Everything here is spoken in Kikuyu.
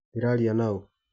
Ndĩraria naũ.